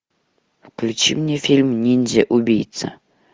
включи мне фильм ниндзя убийца